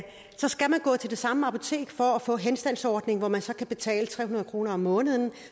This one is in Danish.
skal man gå til det samme apotek for at få en henstandsordning hvor man så kan betale tre hundrede kroner om måneden